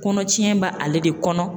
Kɔnɔ tiɲɛ b'ale de kɔnɔ.